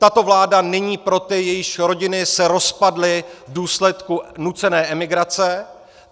Tato vláda není pro ty, jejichž rodiny se rozpadly v důsledku nucené emigrace.